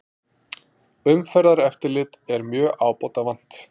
Umferðareftirlit er mjög ábótavant